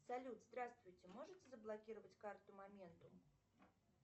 салют здравствуйте можете заблокировать карту моментум